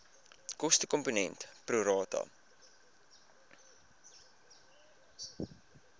kostekomponent pro rata